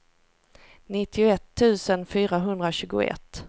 nittioett tusen fyrahundratjugoett